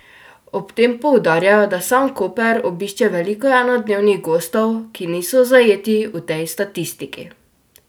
Ob tem poudarjajo, da sam Koper obišče veliko enodnevnih gostov, ki niso zajeti v tej statistiki.